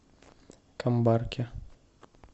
камбарке